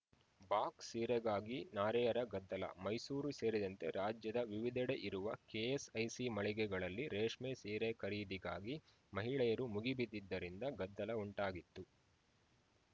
box ಸೀರೆಗಾಗಿ ನಾರಿಯರ ಗದ್ದಲ ಮೈಸೂರು ಸೇರಿದಂತೆ ರಾಜ್ಯದ ವಿವಿಧೆಡೆ ಇರುವ ಕೆಎಸ್‌ಐಸಿ ಮಳಿಗೆಗಳಲ್ಲಿ ರೇಷ್ಮೆ ಸೀರೆ ಖರೀದಿಗಾಗಿ ಮಹಿಳೆಯರು ಮುಗಿಬಿದ್ದಿದ್ದರಿಂದ ಗದ್ದಲ ಉಂಟಾಗಿತ್ತು